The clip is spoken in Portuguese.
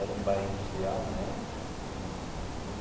Era um bairro industrial na época era um né.